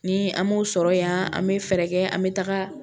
Ni an m'o sɔrɔ yan an bɛ fɛɛrɛ kɛ an bɛ taga